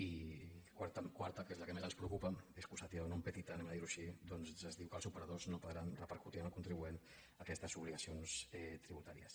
i quarta que és la que més ens preocupa excusatio non petita diguem ho així ja que es diu que els operadors no podran repercutir en el contribuent aquestes obligacions tributàries